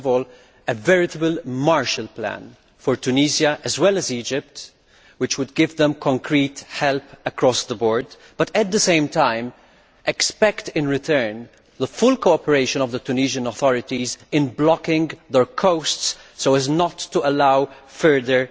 Firstly, a veritable Marshall Plan for Tunisia and Egypt which would provide tangible help across the board but, at the same time, expect in return the full cooperation of the Tunisian authorities in blocking their coasts so as not to allow further